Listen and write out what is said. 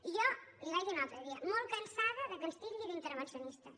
i jo li ho vaig dir un altre dia molt cansada que ens titlli d’intervencionistes